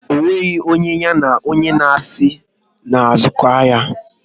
Ọ nweghị onye ya na onye asị na-azụko ahia